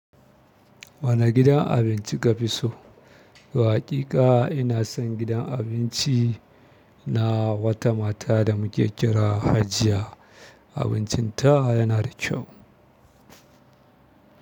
Wane gidan abinci ka fi so? Toh waƙiƙa ina son gidan abinci na wata mata da muke kira Hajiya. Abuncin tawa yana da kyau.